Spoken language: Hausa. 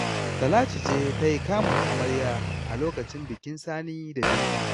Talatu ce ta yi kamun amarya a lokacin bikin Sani da Binta